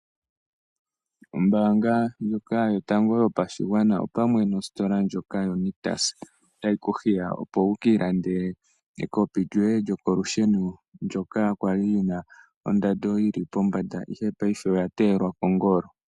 Ombaanga ndjoka yotango yopashigwana opamwe nositola ndjoka yoNictus, otayi ku hiya opo wuye wiilandele ekopi lyoye lyokolusheno ndyoka kwali lyina ondando yili pombanda ihe paife paife oya teelwa kongolo.